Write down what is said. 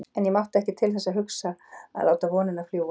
En ég mátti ekki til þess hugsa að láta vonina fljúga.